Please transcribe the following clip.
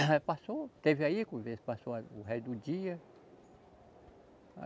Aí passou, teve aí conversa, passou o resto do dia.